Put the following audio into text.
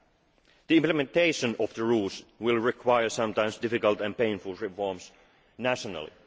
the Two Pack. The implementation of the rules will require sometimes difficult and painful reforms